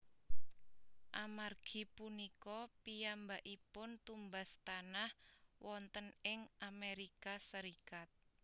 Amargi punika piyambakipun tumbas tanah wonten ing Amerika Serikat